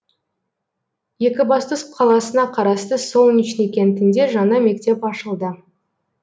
екібастұз қаласына қарасты солнечный кентінде жаңа мектеп ашылды